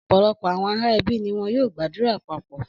Ọ̀pọ̀lọpọ̀ àwọn ará ẹbí ni wọ́n yóò gbàdúrà papọ̀.